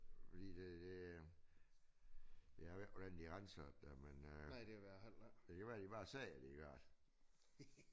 Fordi det det jeg ved ikke hvordan de er ansat der men øh det kunne være de bare sagde at det gør det